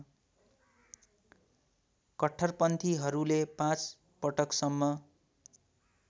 कट्टरपन्थीहरूले पाँच पटकसम्म